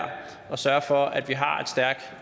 at sørge for at vi har et stærkt